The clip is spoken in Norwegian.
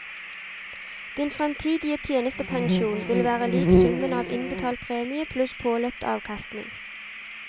Din fremtidig tjenestepensjon vil være lik summen av innbetalt premie pluss påløpt avkastning.